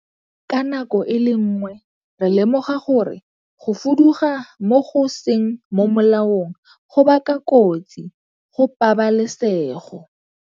Ka nako e le nngwe, re lemoga gore go fuduga go go seng mo molaong go baka kotsi go pabalesego.